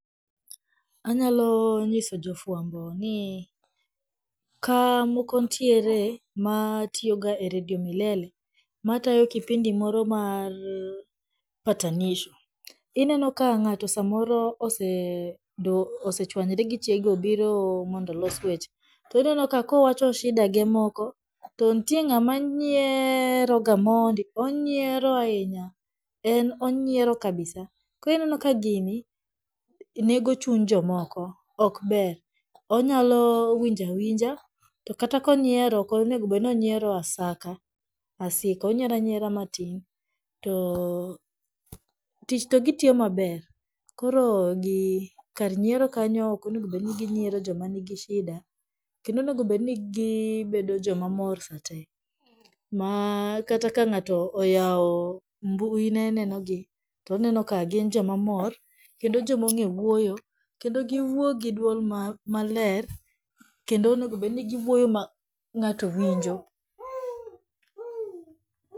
Anyalonyiso jofwambo ni, ka moko nitiere matiyoga e radio milele matayo kipindi moro mar patanisho, ineno ka ng'ato samoro osechwanyre gi chiege obiro mondo olos weche, to inenoka kowacho shida ge moko to nitie ng'ama nyieeeroga mondi, onnyieero ahinya, en onyiero kabisa, koro ineno ka gini, nego chuny jomoko, ok ber onyalo winjo awinja to kata konyiero okonego bedni onyiero asaka asika , onyiero anyiera matin, too tich to gitiyo maber, koro kar nyiero kanyo okonegobedni ginyiero jomanigi shida kendo onegobedni gibedo jomamor satee, ma kata ka ng'ato oyawo mbuine nenogi, to onenoka gin jomamor kendo joma ong'ewuoyo, kendo giwuo gi duol maler, kendo onegobedni giwuoyo ma ng'ato winjo.